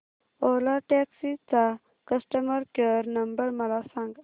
ओला taxi चा customer care number मला सांग